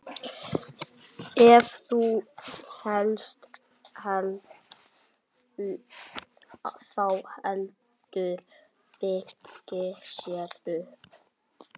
Ef hún helst heil þá heldur Fylkir sér uppi.